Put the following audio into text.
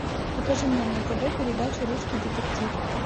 покажи мне на тв передачу русский детектив